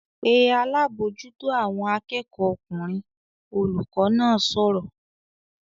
"Pe alábòójútó àwọn akẹ́kọ̀ọ́ ọkùnrin!" Olùkọ́ náà sọ̀rọ̀